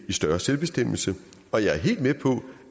større selvbestemmelse og jeg er helt med på